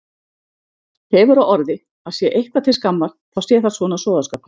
Hefur á orði að sé eitthvað til skammar þá sé það svona sóðaskapur.